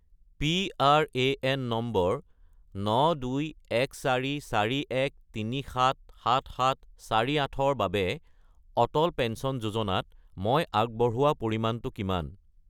PRAN number 921441377748 -ৰ বাবে Atal pension যোজনাত মই আগবঢ়োৱা পৰিমাণটো কিমান?